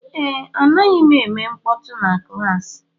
Ee, anaghị m eme mkpọtụ na klaasị